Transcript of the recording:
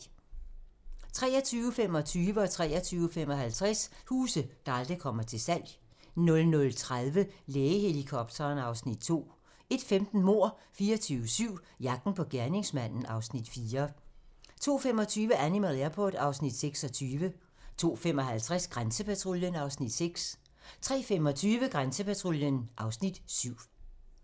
23:25: Huse, der aldrig kommer til salg 23:55: Huse, der aldrig kommer til salg 00:30: Lægehelikopteren (Afs. 5) 01:15: Mord 24/7 - jagten på gerningsmanden (Afs. 4) 02:25: Animal Airport (Afs. 26) 02:55: Grænsepatruljen (Afs. 6) 03:25: Grænsepatruljen (Afs. 7)